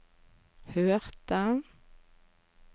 hørte